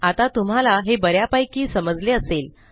आता तुम्हाला हे ब यापैकी समजले असेल